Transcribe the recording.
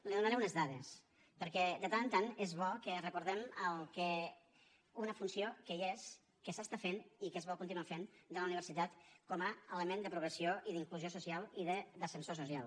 li donaré unes dades perquè de tant en tant és bo que recordem una funció que hi és que s’està fent i que es vol continuar fent de la universitat com a element de progressió i d’inclusió social i d’ascensor social